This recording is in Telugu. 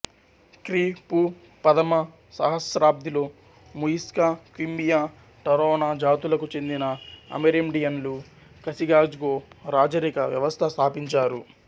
క్రీ పూ ప్రథమ సహస్రాబ్ధిలో ముయిస్కా క్వింబయా టరొనా జాతులకు చెందిన అమెరిండియన్లు కసికాజ్గొ రాజరిక వ్యవస్థ స్థాపించారు